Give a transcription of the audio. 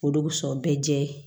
O de bi sɔn bɛɛ jɛ